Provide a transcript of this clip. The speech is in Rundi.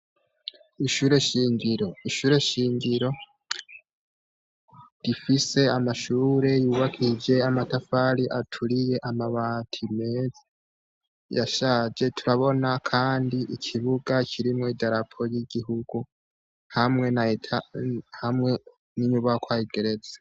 Ishure shingiro, ishure shingiro rifise amashure yubakishije amatafari aturiye, amabati meza yashaje, turabona kandi ikibuga kirimwo i darapo ry'igihugu hamwe na etaje, hamwe n'inyubakwa igeretse.